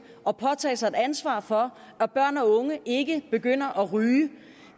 at påtage sig et ansvar for at børn og unge ikke begynder at ryge